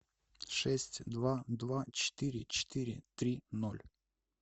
шесть два два четыре четыре три ноль